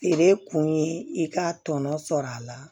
Feere kun ye i ka tɔnɔ sɔrɔ a la